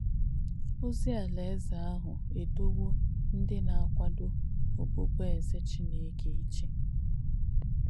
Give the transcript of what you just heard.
Ozì Àláèze àhù èdòwō ndí nà-àkwádò òbùbùèzè Chìnéke ìchē.